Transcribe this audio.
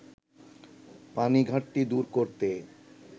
পানি ঘাটতি দূর করতে